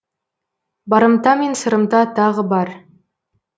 барымта мен сырымта тағы бар